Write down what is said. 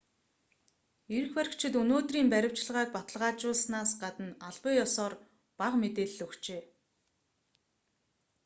эрх баригчид өнөөдрийн баривчилгааг баталгаажуулсанаас гадна албан ёсоор бага мэдээлэл өгчээ